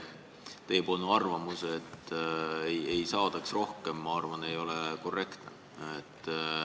Teie arvamus, et ei saadaks rohkem ehitada, ei ole minu arvates korrektne.